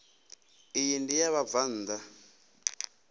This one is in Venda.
iyi ndi ya vhabvann ḓa